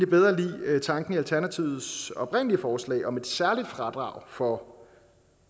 bedre lide tanken i alternativets oprindelige forslag om et særligt fradrag for